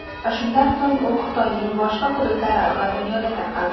Shundan so‘ng u Xitoyning boshqa hududlari va dunyoga tarqaldi.